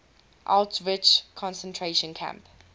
auschwitz concentration camp